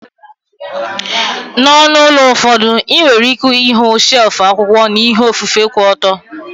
N'onu ụlọ ụfọdụ, ị nwere ike ịhụ shelfu akwụkwọ na ihe ofufe ku oto.